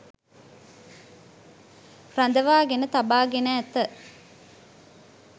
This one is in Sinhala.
රඳවාගෙන තබාගෙන ඇත.